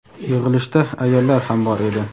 Yig‘ilishda ayollar ham bor edi.